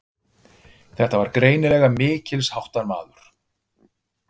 Þetta var greinilega mikilsháttar maður.